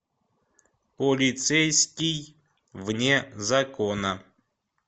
полицейский вне закона